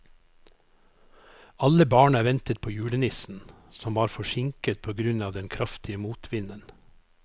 Alle barna ventet på julenissen, som var forsinket på grunn av den kraftige motvinden.